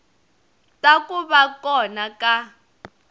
ta ku va kona ka